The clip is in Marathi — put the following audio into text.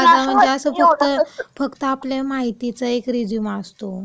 साधा म्हणजे फक्त.. फक्त आपल्या माहितीचा एक रिझ्यूम असतो..